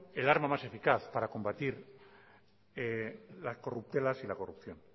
el arma más eficaz para combatir las corruptelas y la corrupción